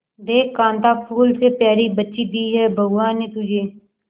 देख कांता फूल से प्यारी बच्ची दी है भगवान ने तुझे